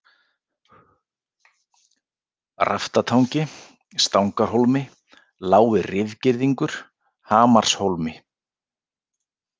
Raftatangi, Stangarhólmi, Lági-Rifgirðingur, Hamarshólmi